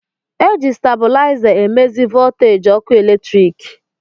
Eji stabụlaiza e mezi vooteeji ọkụ eletrik.